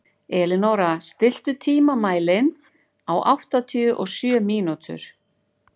Elínóra, stilltu tímamælinn á áttatíu og sjö mínútur.